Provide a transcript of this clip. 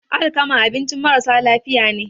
alkama abincin marasa lafiya ne